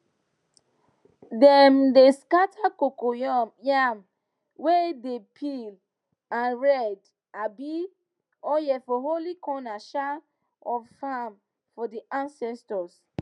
dem dey dey scatter coco yam way dem peel and red um oil for holy corner um of farm for the ancestors